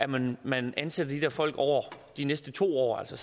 man man ansætter de der folk over de næste to år altså